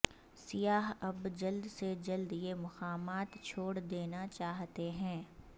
سیاح اب جلد سے جلد یہ مقامات چھوڑ دینا چاہتے ہیں